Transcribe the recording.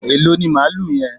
Èló ni malú yen?